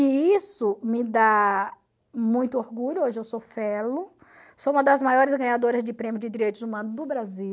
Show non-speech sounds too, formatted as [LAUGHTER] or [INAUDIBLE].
E isso me dá muito orgulho, hoje eu sou [UNINTELLIGIBLE] sou uma das maiores ganhadoras de prêmios de direitos humanos do Brasil.